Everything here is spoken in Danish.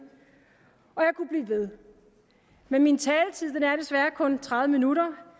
og jeg kunne blive ved men min taletid er desværre kun tredive minutter